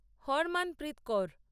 Harmanpreet Kaur